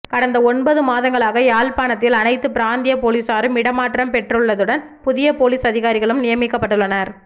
கடந்த ஒன்பது மாதங்களாக யாழ்ப்பாணத்தில் அனைத்து பிராந்திய பொலிசாரும் இடமாற்றம் பெற்றுள்ளதுடன் புதிய பொலிஸ் அதிகாரிகளும் நியமிக்கப்பட்டுள்ளனர்